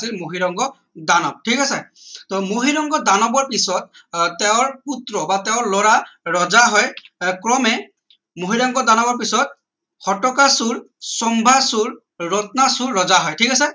মহীৰংগ দানৱ ঠিক আছে টো মহীৰংগ দানৱৰ পিছত আহ তেওঁৰ পুত্ৰ বা তেওঁৰ লৰা ৰজা হয় আহ ক্ৰমে মহীৰংগ দানৱ পিছত ঘটকাসুৰ শম্ভাসুৰ ৰত্নাসুৰ ৰজা হয় ঠিক আছে